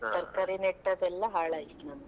ತರಕಾರಿ ನೆಟ್ಟೆದೆಲ್ಲಾ ಹಾಳಾಯಿತು ನಮ್ದು.